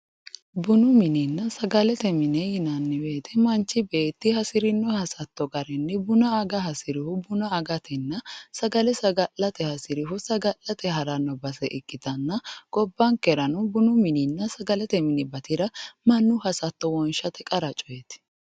Bunu minenna sagalete mine yinnanni woyte manchi beetti hasirino hasatto garinni buna aga hasirihu buna agatenna sagale saga'late hasirihu saga'latte harano base ikkittanna gobbankerano sagalete mini batira mannu hasatto wonshate qarate.